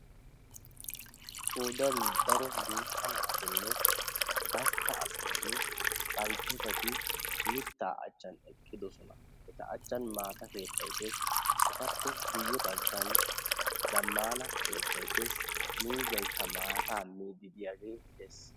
Qoodan daro guutta naatinne gastta asaynne baltteetati mittaa achchan eqqidosona. Eta achchan maata keettay dees. Etappe guyye baggan zammaana keettay dees. Miizzaykka maataa miiddi diyagee dees.